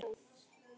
Þú ert það.